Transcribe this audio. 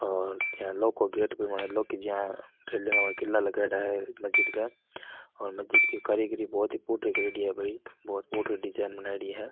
और यहाँ लोहो को गेट भी बनेलो किला लगाइडा है मस्जिद के यहाँ और मस्जिद की कारीगरी बहोत ही फूटरी करेड़ी है भाई बहोत ही फूटरी डिज़ाइन बनायेड़ी है।